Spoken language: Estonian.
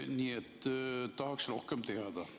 Nii et tahaks rohkem teada.